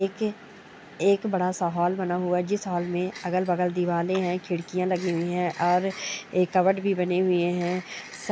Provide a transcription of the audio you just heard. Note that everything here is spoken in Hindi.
एक बड़ा सा हॉल बना हुआ है जिस हॉल में अगल बगल दीवाले है खिडकियाँ लगी हुई हैऔर एक भी बनी हुई हे।